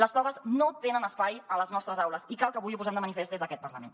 les togues no tenen espai a les nostres aules i cal que avui ho posem de manifest des d’aquest parlament